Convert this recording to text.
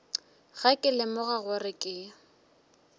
ge ke lemoga gore ke